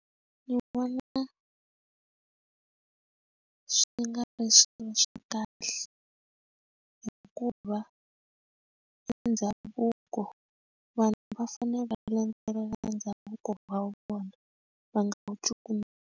Ndzi vona swi nga ri swilo swa kahle hikuva i ndhavuko vanhu va fane va landzelela ndhavuko wa vona va nga wu cukumeta.